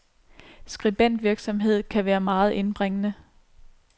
Skribentvirksomhed kan være meget indbringende.